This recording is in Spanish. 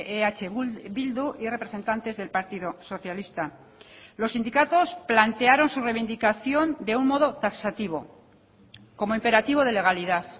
eh bildu y representantes del partido socialista los sindicatos plantearon su reivindicación de un modo taxativo como imperativo de legalidad